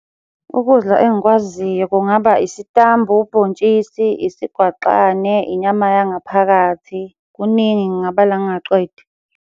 Ukudla engikwaziyo kungaba isitambu, ubhontshisi, isigwaqane, inyama yangaphakathi. Kuningi ngingabala ningaqedi.